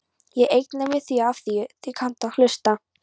Ég eigna mér þig afþvíað þú kannt að hlusta.